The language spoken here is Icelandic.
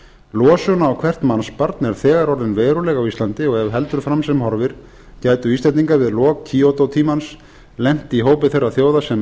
losun á hvert mannsbarn er þegar orðin veruleg á íslandi og ef heldur fram sem horfir gætu íslendingar við lok kyoto tímans lent í hópi þeirra þjóða sem